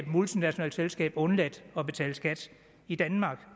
multinationalt selskab undladt at betale skat i danmark